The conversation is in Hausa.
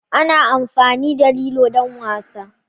Ana amfani da lilo don wasa.